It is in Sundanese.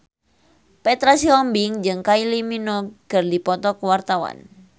Petra Sihombing jeung Kylie Minogue keur dipoto ku wartawan